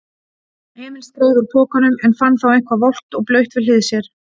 Emil skreið úr pokanum en fann þá eitthvað volgt og blautt við hlið sér.